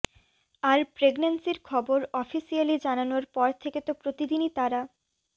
আর প্রেগন্যান্সির খবর অফিসিয়ালি জানানোর পর থেকে তো প্রতিদিনই তাঁরা